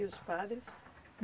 E os padres?